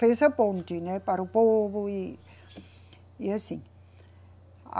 Fez a ponte, né, para o povo e, e assim.